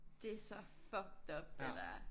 Det så fucked up det der